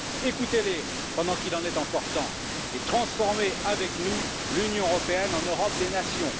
Écoutez les pendant qu'il en est encore temps et transformez avec nous l'Union européenne en Europe des nations.